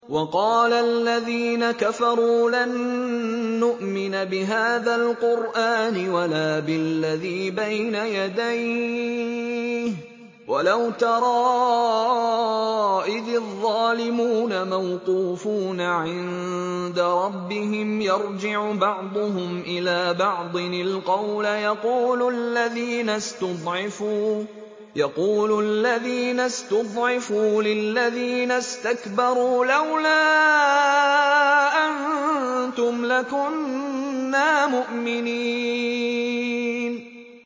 وَقَالَ الَّذِينَ كَفَرُوا لَن نُّؤْمِنَ بِهَٰذَا الْقُرْآنِ وَلَا بِالَّذِي بَيْنَ يَدَيْهِ ۗ وَلَوْ تَرَىٰ إِذِ الظَّالِمُونَ مَوْقُوفُونَ عِندَ رَبِّهِمْ يَرْجِعُ بَعْضُهُمْ إِلَىٰ بَعْضٍ الْقَوْلَ يَقُولُ الَّذِينَ اسْتُضْعِفُوا لِلَّذِينَ اسْتَكْبَرُوا لَوْلَا أَنتُمْ لَكُنَّا مُؤْمِنِينَ